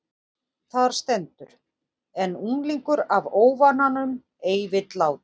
Þar stendur: En unglingur af óvananum ei vill láta